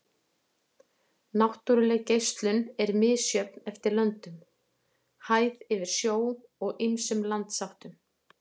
Náttúruleg geislun er misjöfn eftir löndum, hæð yfir sjó og ýmsum landsháttum.